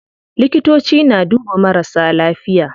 Likitoci na duba marasa lafiya.